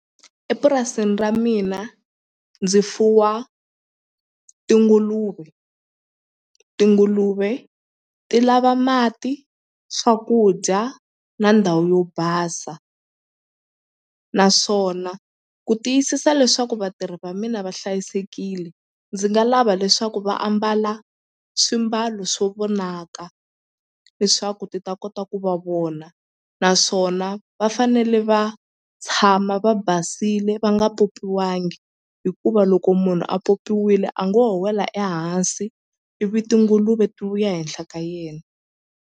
Epurasini ra mina ndzi fuwa tinguluve, tinguluve ti lava mati swakudya na ndhawu yo basa naswona ku tiyisisa leswaku vatirhi va mina va hlayisekile ndzi nga lava leswaku va ambala swimbalo swo vonaka leswaku ti ta kota ku va vona naswona va fanele va tshama va basile va nga popiwangi hikuva loko munhu a popiwile a ngo ho wela ehansi ivi tinguluve ti vuya henhla ka yena.